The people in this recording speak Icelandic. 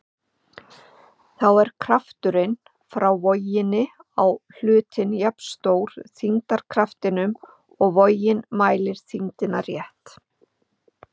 Þá er krafturinn frá voginni á hlutinn jafnstór þyngdarkraftinum og vogin mælir þyngdina rétt.